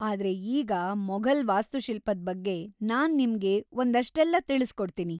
ಆದ್ರೆ ಈಗ ಮೊಘಲ್‌ ವಾಸ್ತುಶಿಲ್ಪದ್‌ ಬಗ್ಗೆ ನಾನ್‌ ನಿಮ್ಗೆ ಒಂದಷ್ಟೆಲ್ಲ ತಿಳಿಸ್ಕೊಡ್ತೀನಿ.